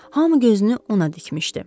Hamı gözünü ona dikmişdi.